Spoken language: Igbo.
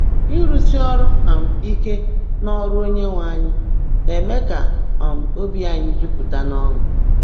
Ịrụsi ọrụ um ike “n’ọrụ Onyenwe anyị” na-eme ka um obi anyị jupụta n’ọṅụ.